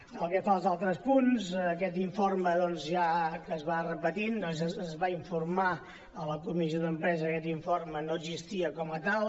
pel que fa als altres punts aquest informe doncs ja que es va repetint es va informar a la comissió d’empresa que aquest informe no existia com a tal